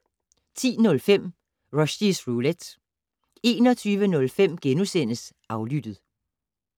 10:05: Rushys Roulette 21:05: Aflyttet *